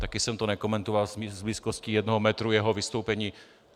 Taky jsem to nekomentoval z blízkosti jednoho metru, jeho vystoupení.